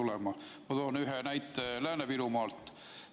Ma toon ühe näite Lääne-Virumaalt.